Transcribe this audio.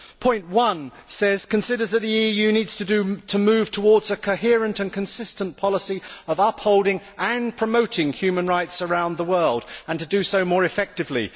Paragraph 1 says Considers that the EU needs to move towards a coherent and consistent policy of upholding and promoting human rights around the world' and to do so more effectively'.